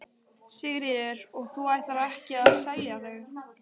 Sigríður: Og þú ætlar ekki að selja þau?